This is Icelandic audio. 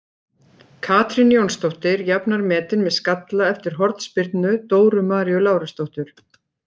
Katrín Jónsdóttir jafnar metin með skalla eftir hornspyrnu Dóru Maríu Lárusdóttur.